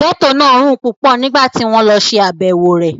Gẹ́tò náà rùn púpọ̀ nígbà tí wọ́n lọ ṣe àbẹ̀wò rẹ̀